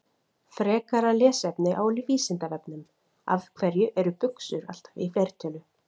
Frekara lesefni á Vísindavefnum: Af hverju eru buxur alltaf í fleirtölu?